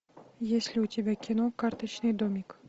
есть ли у тебя кино карточный домик